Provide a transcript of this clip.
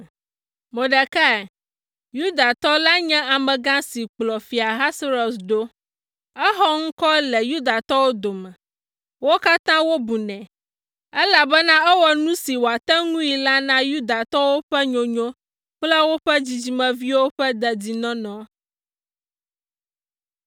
Mordekai, Yudatɔ la nye amegã si kplɔ Fia Ahasuerus ɖo. Exɔ ŋkɔ le Yudatɔwo dome. Wo katã wobunɛ, elabena ewɔ nu si wòate ŋui la na Yudatɔwo ƒe nyonyo kple woƒe dzidzimeviwo ƒe dedinɔnɔ.